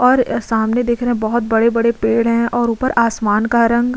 और सामने देख रहे हैं बहोत बड़े-बड़े पेड़ हैं और उपर आसमान का रंग --